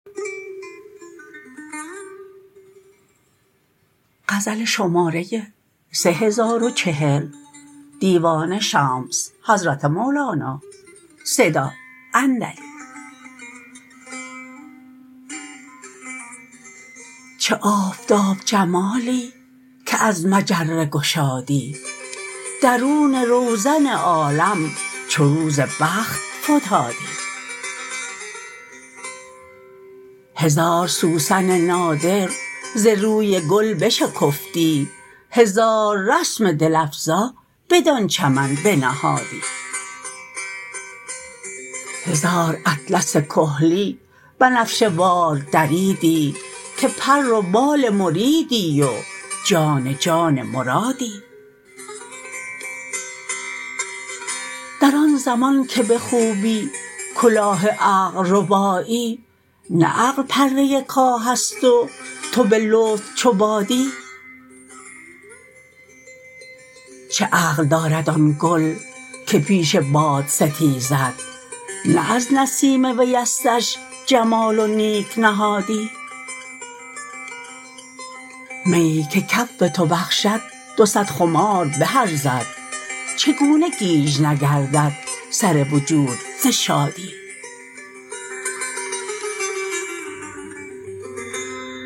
چه آفتاب جمالی که از مجره گشادی درون روزن عالم چو روز بخت فتادی هزار سوسن نادر ز روی گل بشکفتی هزار رسم دل افزا بدان چمن بنهادی هزار اطلس کحلی بنفشه وار دریدی که پر و بال مریدی و جان جان مرادی در آن زمان که به خوبی کلاه عقل ربایی نه عقل پره کاه ست و تو به لطف چو بادی چه عقل دارد آن گل که پیش باد ستیزد نه از نسیم ویستش جمال و نیک نهادی میی که کف تو بخشد دو صد خمار به ارزد چگونه گیج نگردد سر وجود ز شادی